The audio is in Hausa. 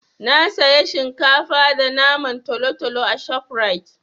Na saya shinkafa da naman talotalo a ShopRite.